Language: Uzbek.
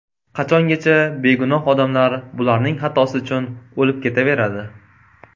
Qachongacha begunoh odamlar bularning xatosi uchun o‘lib ketaveradi?